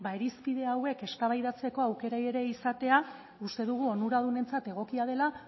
irizpide hauek eztabaidatzeko aukera ere izatea uste dugu onuradunentzat egokia dela